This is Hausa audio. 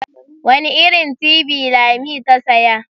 Wani irin tibi lami ta siya?